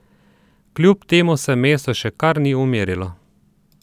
Kljub temu se mesto še kar ni umirilo.